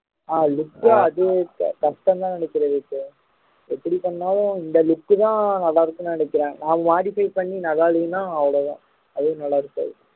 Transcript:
ஆஹ் look க்கும் அது கஷ்டம்ன்னுதான் நினைக்கிறேன் எப்படி பண்ணாலும் இந்த look தான் நல்லா இருக்கும்னு நினைக்கிறேன் நம்ம modify பண்ணி நல்லா இல்லைன்னா அவ்வளவுதான் அதுவும் நல்லா இருக்காது